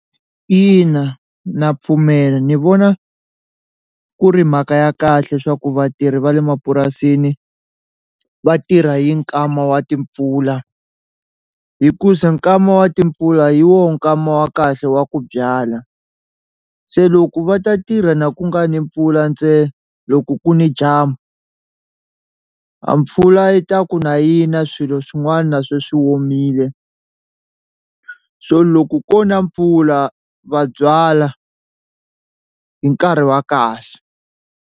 Ina na pfumela ni vona ku ri mhaka ya kahle swa ku vatirhi va le mapurasini va tirha hi nkama wa timpfula hikuza nkama wa timpfula hi woho nkama wa kahle wa ku byala, se loko va ta tirha na ku nga ni mpfula ntsena loko ku ni dyambu a mpfula yi ta ku na yi na swilo swin'wana se swi womile so loko ko na mpfula va byala hi nkarhi wa kahle.